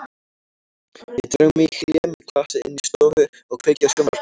Ég dreg mig í hlé með glasið inn í stofu og kveiki á sjónvarpinu.